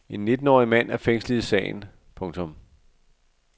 En nittenårig mand er fængslet i sagen. punktum